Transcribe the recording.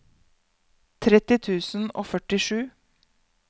tretti tusen og førtisju